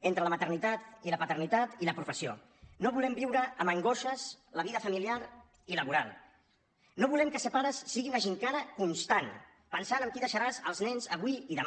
entre la maternitat i la paternitat i la professió no volem viure amb angoixes la vida familiar i laboral no volem que ser pares sigui una gimcana constant pensant amb qui deixaràs els nens avui i demà